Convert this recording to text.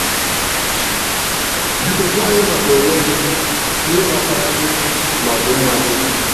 Q: Biko gwa anyị maka onwe gị, ihe gbasara gị na ọdịmma gị.